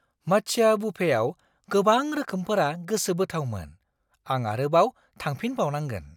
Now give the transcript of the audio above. मात्स्या बुफेआव गोबां रोखोमफोरा गोसोबोथावमोन। आं आरोबाव थांफिनबावनांगोन।